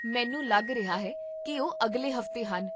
ਮੈਨੂੰ ਲੱਗ ਰਿਹਾ ਹੈ ਕੀ ਉਹ ਅਗਲੇ ਹਫ਼ਤੇ ਹਨ